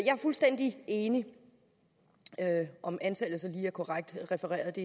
er fuldstændig enig om antallet så lige er korrekt refereret